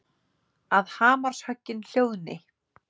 Að hamarshöggin hljóðni.